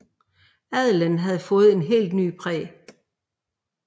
Adelen havde fået et helt nyt præg